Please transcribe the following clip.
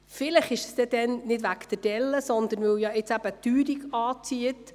Vielleicht ist es dann nicht wegen der Delle, sondern weil jetzt die Teuerung anzieht.